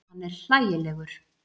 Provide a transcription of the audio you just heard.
Hann er hlægilegur.